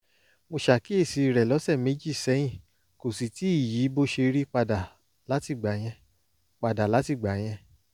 mo ṣàkíyèsí rẹ̀ lọ́sẹ̀ méjì sẹ́yìn kò sì tíì yí bó ṣe rí padà látìgbà yẹn padà látìgbà yẹn